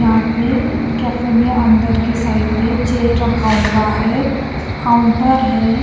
यहाँ पे कैफे में अंदर की साइड पे चेयर रखा हुआ है काउंटर है--